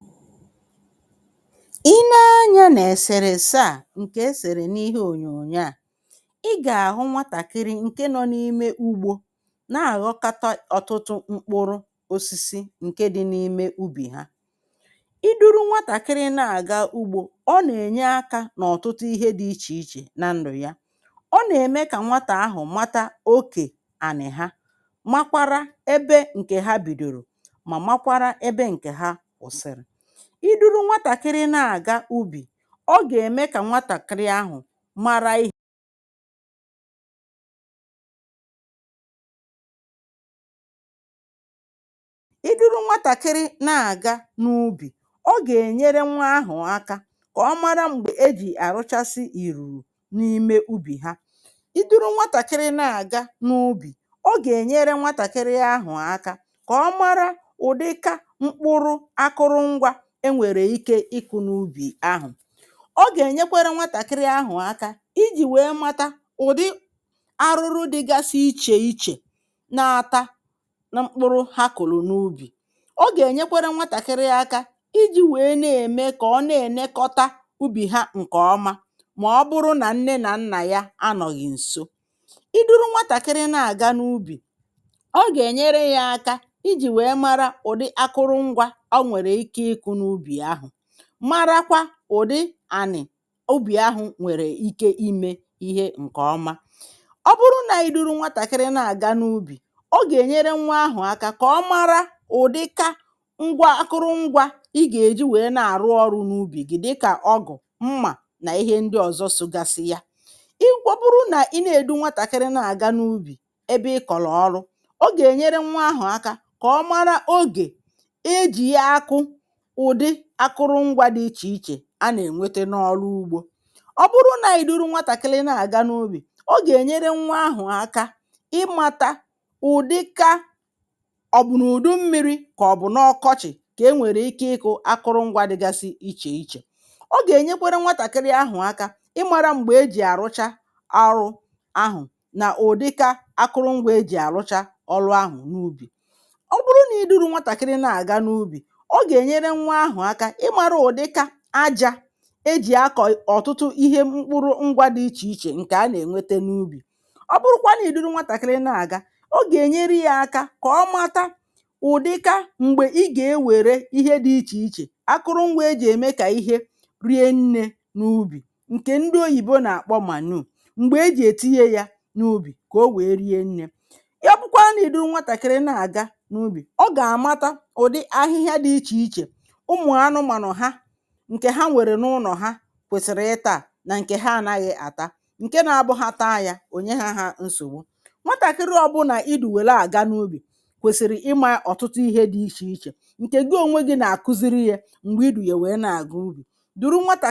Ọ bụrụ na ị lee onyonyo a ị gà-ahụ́ nwatakịrị nọ n’ùbò ala na-anakọta ọtụtụ mkpụrụ osisi n’ùbò̀ ubi ezinụlọ ha. Ịdùru nwatakịrị n’ùbò̀ ubi na-enyere aka n’ihe ọtụtụ dị iche iche n’ịmụ̀ ya. Ọ na-enyere nwatakịrị aka ịma oke ala ubi ha ịghọta ebe ọ bidoro na ebe ọ kwụsịrị. Ịdùru nwatakịrị n’ùbò̀ ubi na-enyere nwa ahụ̀ aka ịmata oge kwesịrị ekwesị iji mee ọrụ ubi. Ọ na-enyekwara nwa ahụ̀ aka ịmata ụdị mkpụrụ dị iche iche e nwere ike ịkụ n’ùbò̀ ubi na ịmata ụdị ihe dị iche iche na-eto n’ubi ha. Site n’ịbụ n’ùbò̀ ubi nwatakịrị ahụ̀ na-amụtakwa otú e si elekọta ihe ubi ọbụna mgbe nne na nna ya anọghị nso. Ịdùru nwatakịrị n’ùbò̀ ubi na-enyere ya aka ịmata ụdị ngwá ọrụ ubi na ojiji nke ngwá ọrụ ọ bụla dịka mma ugbo na ngwá ọrụ ndị ọzọ. Ọ bụrụ na ị dūru nwatakịrị n’ùbò̀ ubi ma kọọrọ ya ọrụ ahụ nwa ahụ̀ ga-aghọta oge ubi na oge a na-anakọta mkpụrụ. Ọ na-enyekwa nwa ahụ̀ aka ịmata ọdịiche dị n’etiti oge mmiri na oge ọkọchị na ụdị ihe ubi a na-akụ n’oge ọ bụla. Nwatakịrị ahụ̀ na-amụta oge e ji arụcha ọrụ ubi na ụdị ihe ubi a na-akụ n’oge ọ bụla. Ịdùru nwatakịrị n’ùbò̀ ubi na-egosikwa ya ụdị mkpụrụ dị iche iche na oge a na-ewetara ụfọdụ n’ụlọ iji rie nri. Ndị oyibo na-akpọ nke a oge owuwe ihe ubi oge a na-ewetara ihe ubi n’ụlọ ka a rie ya. Ọ na-enyekwara nwa ahụ̀ aka ịmata ụdị akwukwo nri dị iche iche dị n’ùbò̀ ubi nke a na-ata na nke a naghị ata ọ̀kàchàsi nke na-enye nsogbu ma ọ bụrụ na e riri ya. Ya bụ, a ga-eduru nwatakịrị ọ bụla n’ùbò̀ ubi ka ọ mụta ihe ọtụtụ dị iche iche. Mgbe ị dūru nwatakịrị n’ùbò̀ ubi ma na-akụziri ya ihe n’oge ọrụ nwa ahụ̀ ga-amata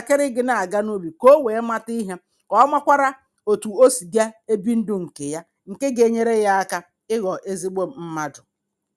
ndụ nke ọma ma mara otú o si ekwesị ibi ndụ um. Nke a ga-enyere ya aka ịghọ ezigbo mmadụ.